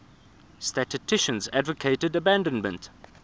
statisticians advocated abandonment